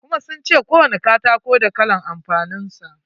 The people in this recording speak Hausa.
Kuma sun ce kowani katako da kalan amfanin sa.